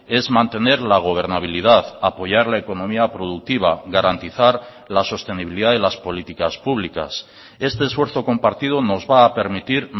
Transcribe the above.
es mantener la gobernabilidad apoyar la economía productiva garantizar la sostenibilidad de las políticas públicas este esfuerzo compartido nos va a permitir